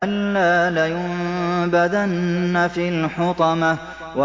كَلَّا ۖ لَيُنبَذَنَّ فِي الْحُطَمَةِ